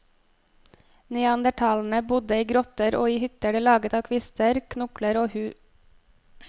Neandertalerne bodde i grotter, og i hytter de laget av kvister, knokler og huder.